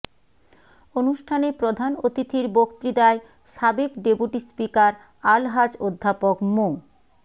অনুষ্ঠানে প্রধান অতিথির বক্তৃতায় সাবেক ডেপুটি স্পিকার আলহাজ অধ্যাপক মো